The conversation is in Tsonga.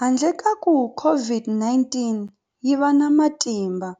Handle ka kuva COVID-19 yi va na matimba,